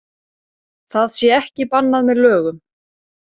Það sé ekki bannað með lögum